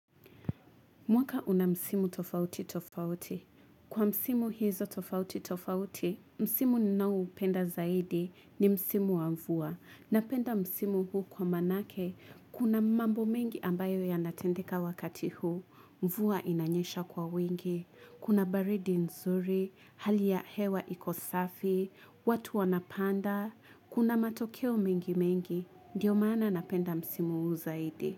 Mwaka una msimu tofauti tofauti. Kwa msimu hizo tofauti tofauti, msimu ninaoupenda zaidi ni msimu wa mvua. Napenda msimu huu kwa manake, kuna mambo mengi ambayo yanatendeka wakati huu, mvua inanyesha kwa wingi, kuna baridi nzuri, hali ya hewa iko safi, watu wanapanda, kuna matokeo mengi mengi, ndiyo mana napenda msimu huu zaidi.